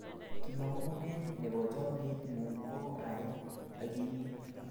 kamangunet nebo chamiet ng'un ko ae agimit